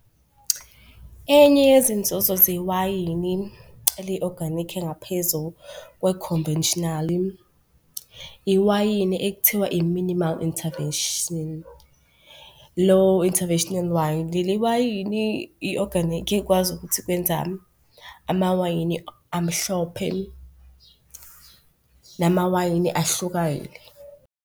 Enye yezinzuzo zewayini eli-oganikhi engaphezu kwe-conventional-i, iwayini ekuthiwa i-minimal intervention, lo-interventional wine. Leli wayini i-oganikhi ekwazi ukuthi kwenza amawayini amhlophe, namawayini .